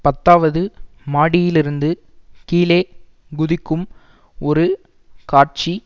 பத்தாவது மாடியிலிருந்து கீழே குதிக்கும் ஒரு காட்சி